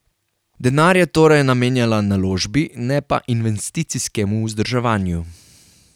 Denar je torej namenjala naložbi, ne pa investicijskemu vzdrževanju.